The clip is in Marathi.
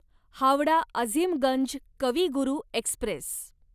हावडा अझीमगंज कवी गुरू एक्स्प्रेस